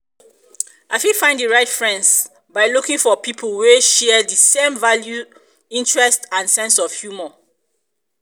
i fit find di right friends um by looking for people wey share di same values interests and sense of humor. sense of humor.